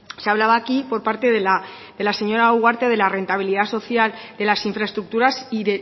se hablaba aquí por parte de la señora ugarte de la rentabilidad social de las infraestructuras y